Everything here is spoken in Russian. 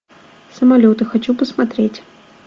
самолеты хочу посмотреть